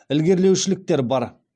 ілгерілеушіліктер бар